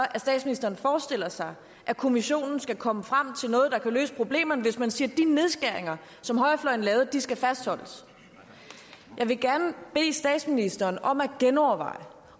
at statsministeren forestiller sig at kommissionen skal komme frem til noget der kan løse problemerne altså hvis man siger at de nedskæringer som højrefløjen lavede skal fastholdes jeg vil gerne bede statsministeren om at genoverveje om